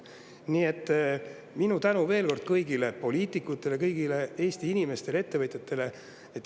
Nii et minu tänu veel kord kõigile poliitikutele, kõigile Eesti inimestele, ettevõtjatele.